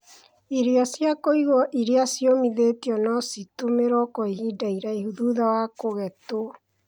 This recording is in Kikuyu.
Irio cia kuigwo irĩa ciomithĩtio no citũmĩrwo kwa ihinda iraihu thutha wa kũgetwo.